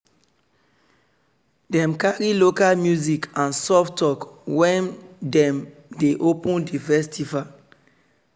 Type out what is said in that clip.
dem carry local music and and soft talk wen dem dey open di festival.